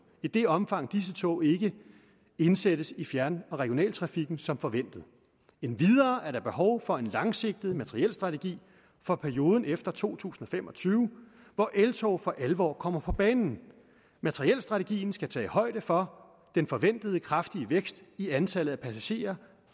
i det omfang disse tog ikke indsættes i fjern og regionaltrafikken som forventet endvidere er der behov for en langsigtet materielstrategi for perioden efter to tusind og fem og tyve hvor eltog for alvor kommer på banen materielstrategien skal tage højde for den forventede kraftige vækst i antallet af passagerer